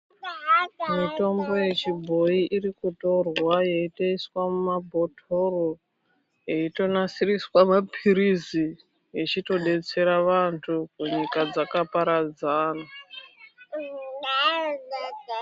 Mitombo yechibhoyi irikutorwa yeiitoiswe mumabhotoro eitonosiriswe mapiritsi yeitobetsera vantu munyika dzakaparadzana.